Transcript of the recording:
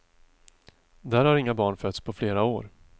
Där har inga barn fötts på flera år.